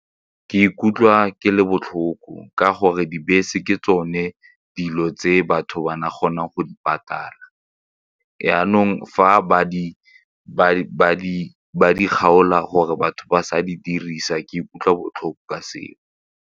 Ke ikutlwa ke le botlhoko ka gore dibese ke tsone dilo tse batho ba nagana go di patala jaanong fa ba di kgaola gore batho ba sa di dirisa ke ikutlwa botlhoko ka seo.